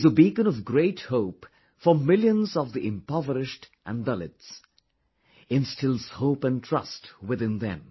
He is a beacon of great hope for millions of the impoverished and Dalits... instills hope and trust within them